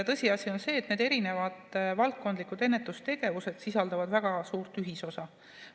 Tõsiasi on see, et need erinevad valdkondlikud ennetustegevused sisaldavad väga suurt ühisosa.